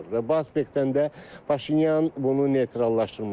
Və bu aspektdən də Paşinyan bunu neytrallaşdırmaq istəyir.